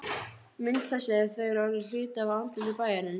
Mynd þessi er þegar orðin hluti af andliti bæjarins.